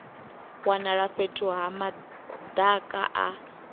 wanala fhethu ha madaka a